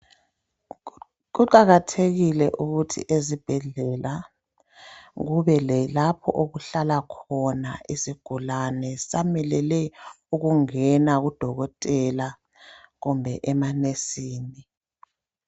Kuqakathekile ukuthi ezibhedlela kube lalapho okuhlala khona isigulane sisamelele ukungena kudokotela kumbe emanesini.